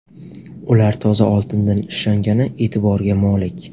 Ular toza oltindan ishlangani e’tiborga molik.